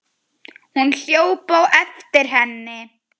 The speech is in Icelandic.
Hún hljóp á eftir henni.